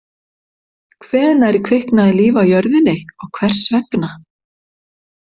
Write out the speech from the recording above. Hvenær kviknaði líf á jörðinni og hvers vegna?